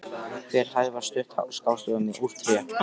Hver hæð var studd skástoðum úr tré.